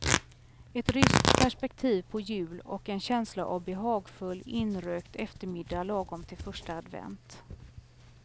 Ett ryskt perspektiv på jul och en känsla av behagfull, inrökt eftermiddag lagom till första advent.